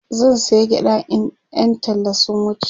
zan saya gyaɗa in Yan talla sun wuce